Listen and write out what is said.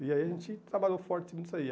E aí a gente trabalhou forte nisso aí.